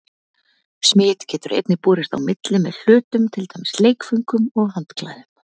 Smit getur einnig borist á milli með hlutum, til dæmis leikföngum og handklæðum.